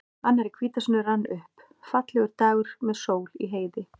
Annar í hvítasunnu rann upp, fallegur dagur með sól í heiði.